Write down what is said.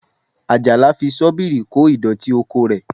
Àjàyí fi Ṣọ́bìrì kó àwọn ìdọ̀tí oko rẹ̀